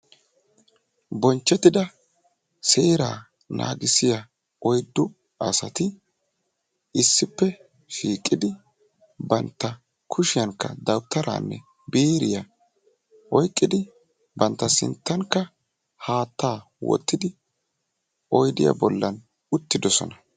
Bonchchetida seera nagissiya oyddu asati issippe shiiqidi banttan kushiyaankka dawutaranne biiriyaa oyqqidi bantta sinttankka haattaa wottidi oyddiya bollande'oosona.